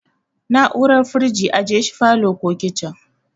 Na'urar firiji ajeshi falow ko kicin